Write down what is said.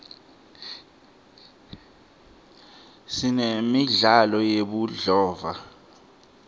sinemidlalo yebudlova